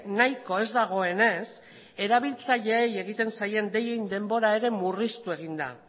nahiko ez dagoenez erabiltzaileei egiten zaien deien denbora ere murriztu egin da